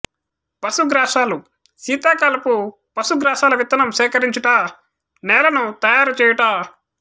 పశుగ్రాసాలు శీతాకాలపు పశుగ్రాసాల విత్తనం సేకరించుట నేలను తయారు చేయుట